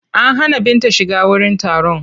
An hana Binta shiga wurin taron.